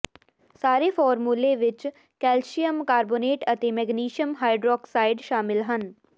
ਸਾਰੇ ਫਾਰਮੂਲੇ ਵਿੱਚ ਕੈਲਸ਼ੀਅਮ ਕਾਰਬੋਨੇਟ ਅਤੇ ਮੈਗਨੇਸ਼ੀਅਮ ਹਾਈਡ੍ਰੋਕਸਾਈਡ ਸ਼ਾਮਿਲ ਹਨ